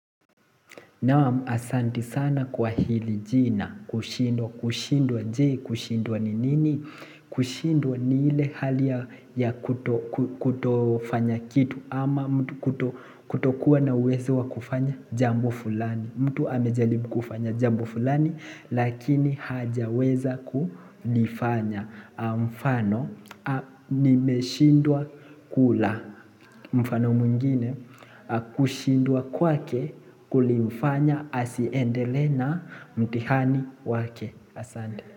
Naam asanti sana kwa hili jina kushindwa kushindwa je kushindwa ni nini kushindwa ni ile hali ya kutofanya kitu ama mtu kutokuwa na uwezo wa kufanya jambo fulani mtu amejalibu kufanya jambo fulani lakini hajaweza kulifanya mfano nimeshindwa kula mfano mwingine kushindwa kwake kulimfanya Asiendele na mtihani wake Asande.